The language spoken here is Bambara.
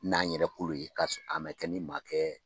N'an yɛrɛ kolo ye k'a mɛ kɛ ni maa kɛ